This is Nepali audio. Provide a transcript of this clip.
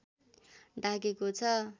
ढाकेको छ